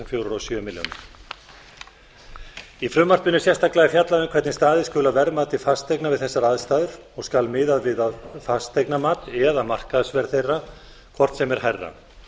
fjórar og sjö milljónir í frumvarpinu er sérstaklega fjallað um hvernig staðið skuli að verðmati fasteigna við þessar aðstæður og skal miðað við að fasteignamat eða markaðsverð þeirra hvort sem er hærra